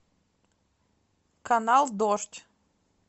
канал дождь